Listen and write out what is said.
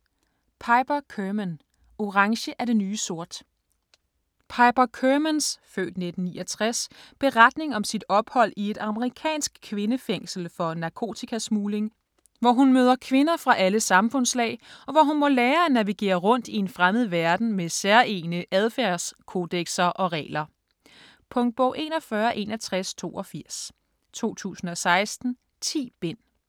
Kerman, Piper: Orange er det nye sort Piper Kermans (f. 1969) beretning om sit ophold i et amerikansk kvindefængsel for narkotikasmugling, hvor hun møder kvinder fra alle samfundslag, og hvor hun må lære at navigere rundt i en fremmed verden med særegne adfærdskodekser og regler. Punktbog 416182 2016. 10 bind.